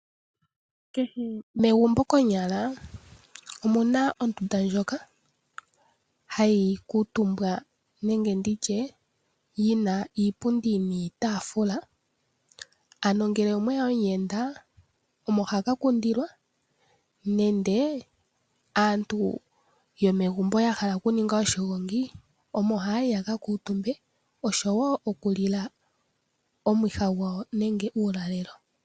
Kehe megumbo konyala omuna ondunda ndyoka hayi kuutumbwa nenge nditye yina iipundi niitafula ano ngele omweya omuyenda omo hakundilwa nenge aantu yomegumbo yahala okuninga oshigongi ,omo hayayi ya ka kuutumbe nenge ya ka lye.